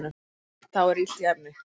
Þá er illt í efni